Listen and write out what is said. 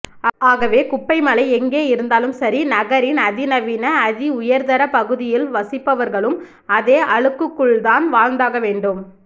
ஆகவே குப்பை மலை எங்கே இருந்தாலும் சரி நகரின் அதிநவீன அதிஉயர்தர பகுதியில் வசிப்பவர்களும் அதே அழுக்குக்குள்தான் வாழ்ந்தாகவேண்டும்